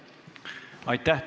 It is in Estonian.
Aitäh!